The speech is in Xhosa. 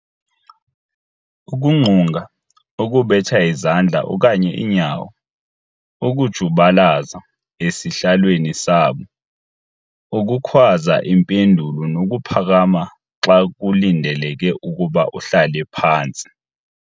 Ukungqunga, ukubetha izandla okanye iinyawo, ukujubalaza esihlalweni sabo, ukukhwaza iimpendulo nokuphakama xa kulindeleke ukuba uhlale phantsi.